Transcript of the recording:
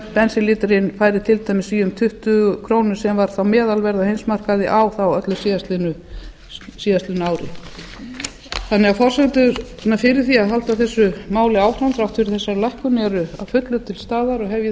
bensínlítrinn færi til dæmis í um tuttugu krónur sem var þá meðalverð á heimsmarkaði á þá öllu síðastliðnu ári forsendurnar fyrir því að halda þessu máli áfram þrátt fyrir þessa lækkun eru því að fullu til staðar og hef ég